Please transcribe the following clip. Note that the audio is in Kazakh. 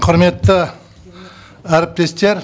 құрметті әріптестер